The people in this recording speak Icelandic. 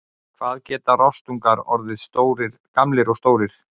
Hvað geta rostungar orðið gamlir og stórir?